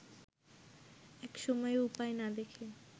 একসময়ে উপায় না দেখে